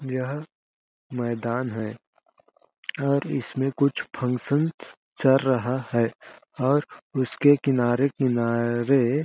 यह मैदान है और इसमें कुछ फंक्शन चर रहा है और उसके किनारे-किनारे-- .